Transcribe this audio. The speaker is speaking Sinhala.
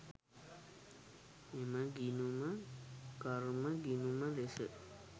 එම ගිණුම කර්ම ගිණුම ලෙස